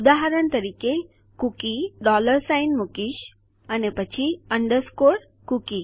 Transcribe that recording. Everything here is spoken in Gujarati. ઉદાહરણ તરીકે કૂકી હું ડૉલર સાઇન મૂકીશ અને પછી અન્ડરસ્કોર કુકી